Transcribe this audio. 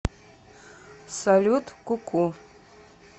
салют ку ку